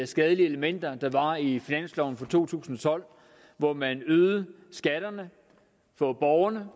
skadelige elementer der var i finansloven for to tusind og tolv hvor man øgede skatterne for borgerne